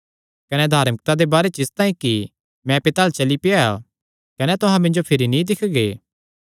कने धार्मिकता दे बारे च इसतांई कि मैं पिता अल्ल चली पेआ कने तुहां मिन्जो भिरी नीं दिक्खगे